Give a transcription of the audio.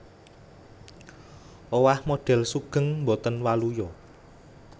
Owah modhél sugeng botén waluya